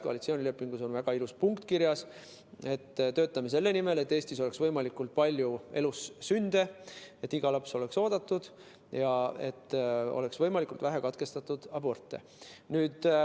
Koalitsioonilepingus on väga ilus punkt, et me töötame selle nimel, et Eestis oleks võimalikult palju elussünde, et iga laps oleks oodatud ja et oleks võimalikult vähe aborte.